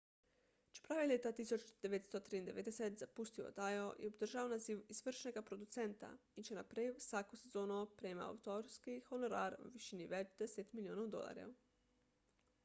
čeprav je leta 1993 zapustil oddajo je obdržal naziv izvršnega producenta in še naprej vsako sezono prejemal avtorski honorar v višini več deset milijonov dolarjev